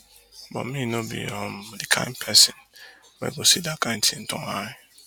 but me no be um di kain pesin wey go see dat kain tin turn eye